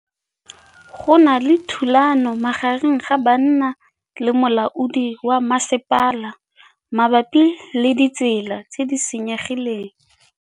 Go na le thulanô magareng ga banna le molaodi wa masepala mabapi le ditsela tse di senyegileng.